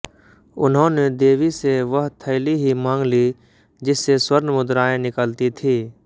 उन्होंने देवी से वह थैली ही मांग ली जिससे स्वर्ण मुद्राएँ निकलती थीं